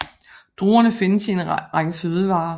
Druerne findes i en række fødevarer